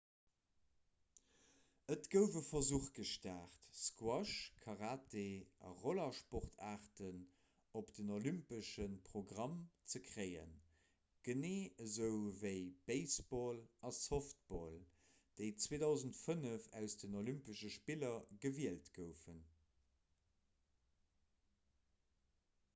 et gouf e versuch gestart squash karate a rollersportaarten op den olympesche programm ze kréien genee esou ewéi baseball a softball déi 2005 aus den olympesche spiller gewielt goufen